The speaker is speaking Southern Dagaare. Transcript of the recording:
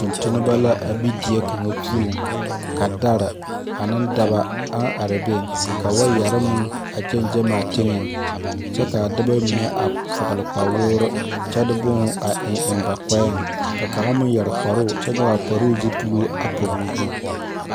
Tungtumba la a be deɛ kanga pou ka dari ane daba ang arẽ beng ka waayeri meng a gangan a tenga kye ka a dɔba mene a vɔgle kpawuri kye de buma a en en ba kpɛɛ ka kanga meng yeri kparoo kye nyuge a kparoo zupiluu a pɔg ɔ zu.